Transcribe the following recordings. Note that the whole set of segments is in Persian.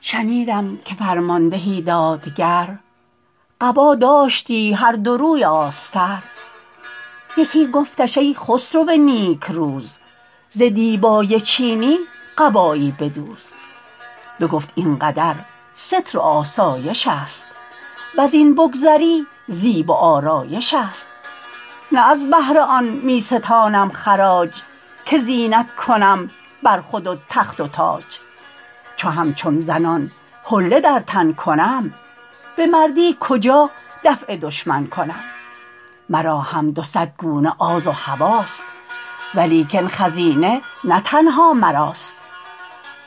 شنیدم که فرماندهی دادگر قبا داشتی هر دو روی آستر یکی گفتش ای خسرو نیکروز ز دیبای چینی قبایی بدوز بگفت این قدر ستر و آسایش است وز این بگذری زیب و آرایش است نه از بهر آن می ستانم خراج که زینت کنم بر خود و تخت و تاج چو همچون زنان حله در تن کنم به مردی کجا دفع دشمن کنم مرا هم ز صد گونه آز و هواست ولیکن خزینه نه تنها مراست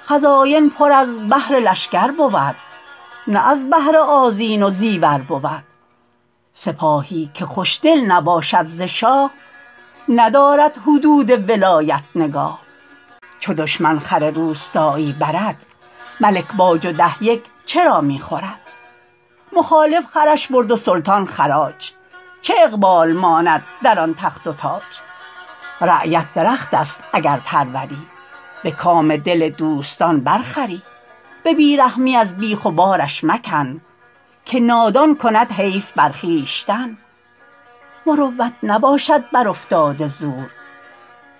خزاین پر از بهر لشکر بود نه از بهر آذین و زیور بود سپاهی که خوشدل نباشد ز شاه ندارد حدود ولایت نگاه چو دشمن خر روستایی برد ملک باج و ده یک چرا می خورد مخالف خرش برد و سلطان خراج چه اقبال ماند در آن تخت و تاج رعیت درخت است اگر پروری به کام دل دوستان بر خوری به بی رحمی از بیخ و بارش مکن که نادان کند حیف بر خویشتن مروت نباشد بر افتاده زور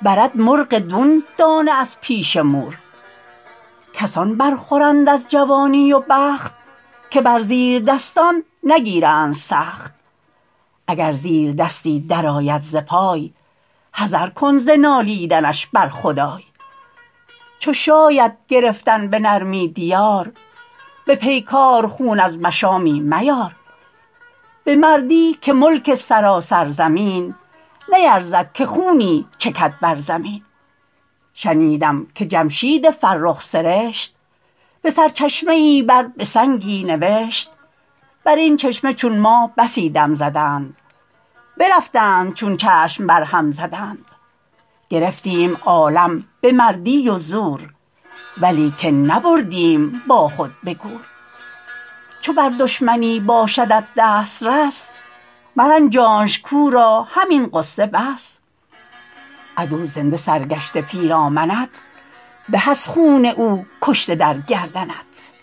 برد مرغ دون دانه از پیش مور کسان بر خورند از جوانی و بخت که بر زیردستان نگیرند سخت اگر زیردستی در آید ز پای حذر کن ز نالیدنش بر خدای چو شاید گرفتن به نرمی دیار به پیکار خون از مشامی میار به مردی که ملک سراسر زمین نیرزد که خونی چکد بر زمین شنیدم که جمشید فرخ سرشت به سرچشمه ای بر به سنگی نوشت بر این چشمه چون ما بسی دم زدند برفتند چون چشم بر هم زدند گرفتیم عالم به مردی و زور ولیکن نبردیم با خود به گور چو بر دشمنی باشدت دسترس مرنجانش کاو را همین غصه بس عدو زنده سرگشته پیرامنت به از خون او کشته در گردنت